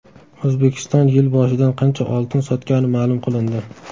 O‘zbekiston yil boshidan qancha oltin sotgani ma’lum qilindi.